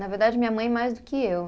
Na verdade, minha mãe mais do que eu.